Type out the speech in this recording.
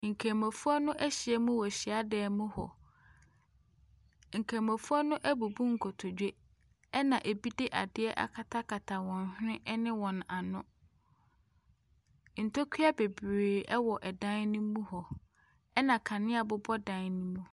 Nkramofoɔ no ahyiam wɔ hyadan mu hɔ. Nkramofoɔ no abubu nkotodwe, ɛnna ebi de adeɛ akatakata wɔn hwene ne wɔn ano. Ntokua bebree wɔ dan no mu hɔ, ɛnna kanea bobɔ dan no mu.